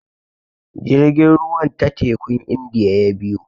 Jirgin ruwan ta tekun Indiya ya biyo.